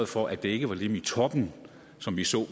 for at det ikke var dem i toppen som vi så